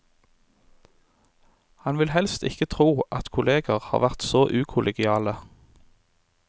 Han vil helst ikke tro at kolleger har vært så ukollegiale.